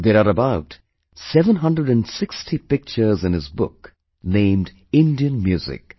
There are about 760 pictures in his book named Indian Music